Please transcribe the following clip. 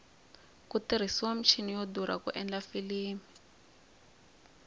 ku tirhisiwa michini yo durha ku endla filimi